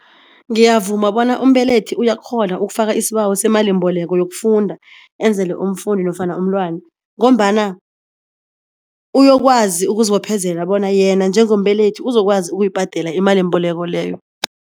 Ngiyavuma bona umbelethi uyakghona ukufaka isibawo seemalimbeleko yokufunda enzele umfundi nofana umntwana ngombana uyokwazi ukuzibophezela bona yena njengombelethi uzokwazi ukuyibhadela imalimbeleko leyo.